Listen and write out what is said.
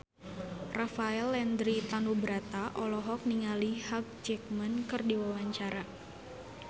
Rafael Landry Tanubrata olohok ningali Hugh Jackman keur diwawancara